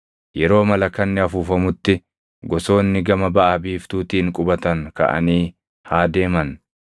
Yeroo malakanni afuufamutti gosoonni gama baʼa biiftuutiin qubatan kaʼanii haa deeman.